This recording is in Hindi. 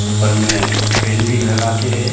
ऊपर में फैन भी लगा के है।